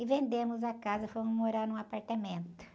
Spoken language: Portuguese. E vendemos a casa, fomos morar num apartamento.